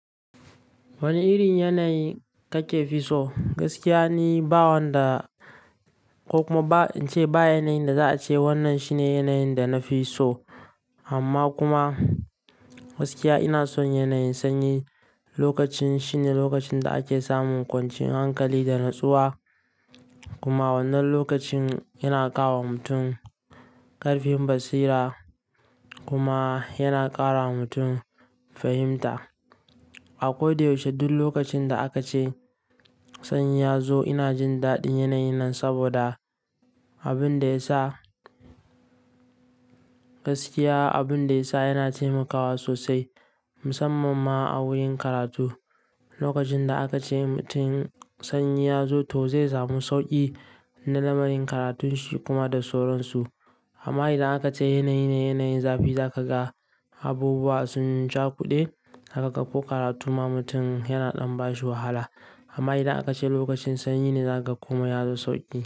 Wane irin yanayi kake fi so? Gaskiya ni, ba wanda ko kuma ba in ce ba yanayin da za a ce wannan shine yanayin da na fi so. Amma kuma gaskiya ina son yanayin sanyi. Lokacin shine lokacin da ake samun kwancin hankali da natsuwa. Kuma wannan lokacin yana ka wa mutum ƙarfin basira kuma yana ƙara wa mutum fahimta. A kodayaushe duk lokacin da aka ce sanyi ya zo ina jin daɗin yanayi nan saboda abin da ya sa gaskiya, abin da ya sa yana taimakawa sosai musamman ma a wurin karatu. Lokacin da aka ce mutum sanyi ya zo to zai samu sauƙi na lamarin karatun shi kuma da soron su. Amma idan aka ce yanayi na yanayin zafi, za ka ga abubuwa sun cakuɗe, za ka ƙaƙo karatu ma mutum yana ɗan bashi wahala. Amma idan aka ce lokacin sanyi ne za ka koma ya zo sauƙi.